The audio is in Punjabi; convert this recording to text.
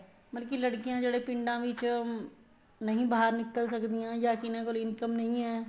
ਮਤਲਬ ਕੀ ਲੜਕੀਆਂ ਜਿਹੜੀਆਂ ਪਿੰਡਾਂ ਵਿੱਚ ਨਹੀਂ ਬਾਹਰ ਨਿੱਕਲ ਸਕਦੀਆਂ ਜਾ ਜਿਹਨਾ ਕੋਲ income ਨਹੀਂ ਹੈ